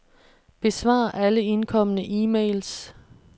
Besvar alle indkomne e-mails.